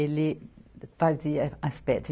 Ele fazia as pedras.